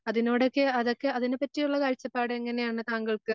അതിനോടൊക്കെ അതൊക്കെ അതിനെപ്പറ്റിയുള്ള എങ്ങനെയാണ് താങ്കൾക്ക്?